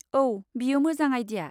औ, बेयो मोजां आइडिया।